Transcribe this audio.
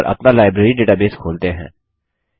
और अपना library database खोलते हैं